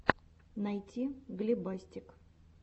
найти глебастик